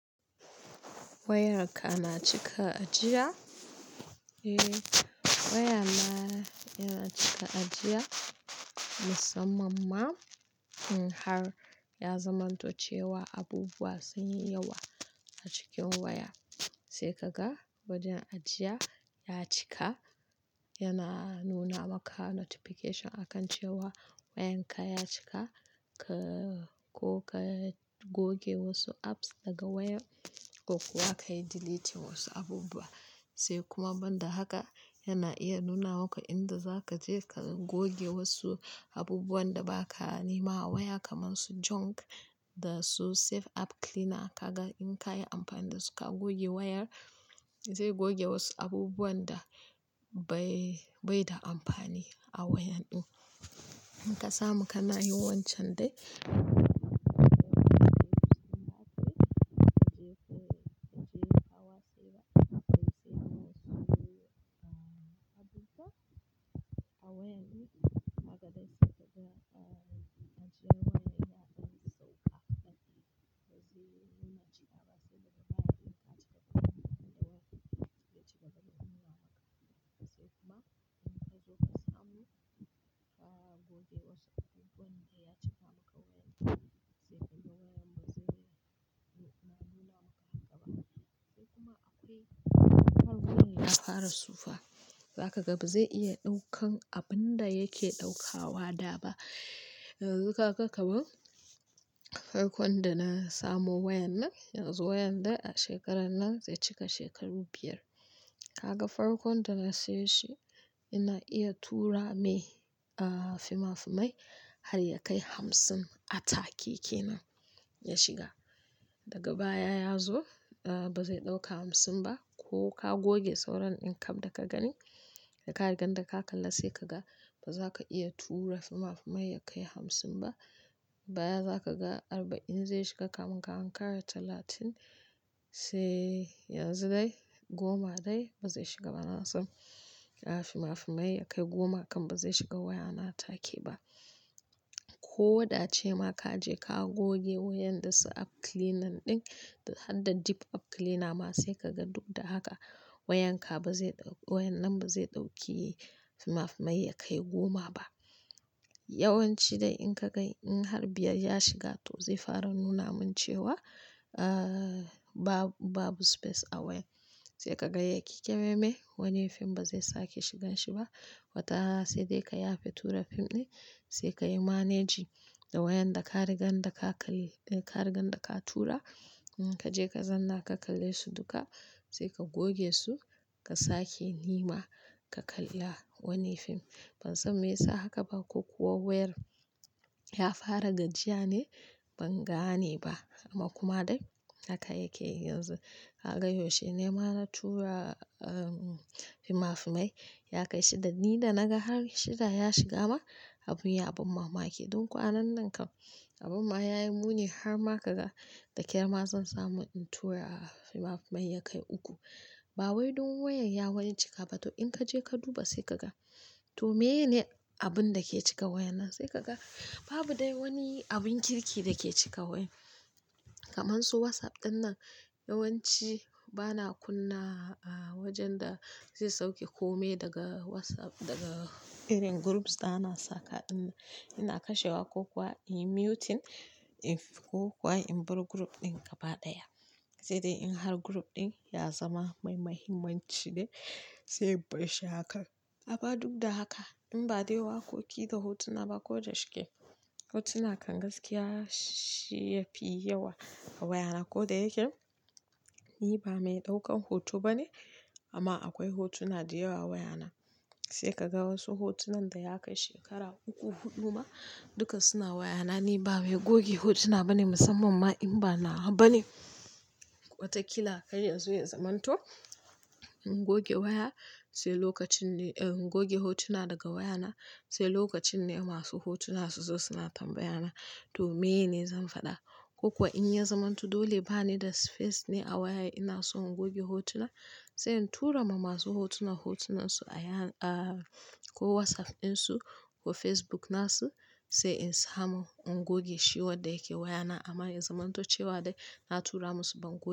Wayarka na cika ajiya? Eh waya na yana cika ajiya musamman in har ya zamanto cewa abubuwa sun yi yawa a cikin waya sai ka ga wajen ajiya ya cika yana nuna maka notification akan cewa wayan ka ya cika ka-- ko ka goge wasu apps daga waya ko kuwa ka yi deleting wasu abubuwa. Sai kuma banda haka yana iya nuna maka inda za ka je ka goge wasu abubuwan da ba ka nema a waya kamar su junk da su safe app cleaner ka ga in ka yi amfani da su ka goge wayar zai goge wasu abubuwan da bai, bai da amfani a wayan ɗin. In ka samu kana yin wancan dai. Abubuwa a wayan mu haka dai sai kaga ajiye waya yana sauka dadi. Wasu suna ajiye a wasu lokatai in ka cika duka inda wayar zai cika zai nuna maka. Sai kuma in ka zo ka samu ka goge wasu abubuwan da ya cika maka a wayan sai kuma wayan bazai, ba nuna maka haka ba. Sai kuma akwai farkon ya fara sufawa za ka ga bazai iya ɗaukan abun da yake ɗaukawa da ba. Yanzu ka ga kamar farkon da na samo wayan nan yanzu wayan da shekaran nan zai cika shekaru biyar. Ka ga farkon da na sayar shi yana iya tura mai, ah fina-finai har ya kai hamsin a take kenan ya shiga. Daga baya ya zo ah bazai ɗauka hamsin ba ko ka goge sauran ɗin kaf da ka gani da ka riga da ka kalla sai ka ga ba za ka iya tura fi ma fi mai ya kai hamsin ba. Baya za ka ga arba'in zai shiga kamin ka an kara talatin sai yanzu dai goma dai bazai shiga ba. Na san fi ma fi mai ya kai goma kan bazai shiga waya na take ba. Ko da ace ma ka je ka goge wayan dasu app cleaner ɗin da hadda deep app cleaner ma sai ka ga duk da haka wayan ka bazai ɗauki-- wayan nan bazai ɗauki fimafimai ya kai goma ba. Yawanci dai in ka ga in har biyar ya shiga to zai fara nuna min cewa ah babu, babu space a wayan sai ka ga yake keme me wani fim bazai sake shigan shi ba. Wata sai dai ka yafe tura fim ɗin sai ka yi managing da wayan da ka riga da ka kali-- da ka riga da ka tura. Kaje ka zanna ka kalle su duka sai ka goge su ka sake nema ka kalla wani fim. Ban san me yasa haka ba ko kuwa wayar ya fara gajiya ne ban gane ba amma kuma dai haka yake yanzu. Ka ga yaushe nema na tura ah fimafimai ya kai shida. Ni da na na ga har shida ya shiga ma abin ya ban mamaki. Don kwanan nan kam abun ma ya yi muni har ma ka ga da ƙyar ma zan samu in tura fimafimai ya kai uku. Ba wai don wayan ya wani cika ba to in kaje ka duba sai ka ga to me ye ne abun da ke cika wayan nan? Sai ka ga babu dai wani abun kirki da ke cika wayan. Kamar su WhatsApp ɗin nan yawanci bana kunna ah wajen da zai sauke kome daga WhatsApp daga irin groups da ana saka ɗin. Ina kashewa ko kuwa in muting in ko kuwa in bar group ɗin gaba ɗaya. Sai dai in group in ya zama mai muhimmanci ne, sai in bar shi haka amma duk da haka in ba dai waƙoƙi da hotuna ba ko da shike. Hotuna kan gaskiya shi yafi yawa a wayana ko da yake ni ba mai ɗaukan hoto bane amma akwai hotuna da yawa wayana. Sai ka ga wasu hotunan da ya kai shekara uku, huɗu ma duka suna wayana ni ba mai goge hotuna bane musamman ma in ba nawa bane. Wataƙila kar ya zo ya zamanto in goge hotu na daga waya na sai lokacin ne ma su hotuna su zo su na tambaya na, to miye ne zan faɗa? Ko kuwa in ya zamanto dole bane da space ne a waya ina son in goge hotuna sai in tura ma masu hotuna hotunansu a yan-- ah ko WhatsApp ɗinsu ko Facebook nasu sai in samu in goge shi wa da yake wayana amma ya zamanto cewa dai na tura masu ban kuwa.